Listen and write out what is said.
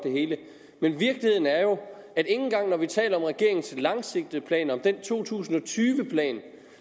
men virkeligheden er jo at ikke engang når vi taler om regeringens langsigtede planer om den to tusind og tyve plan